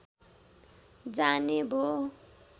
जाने भो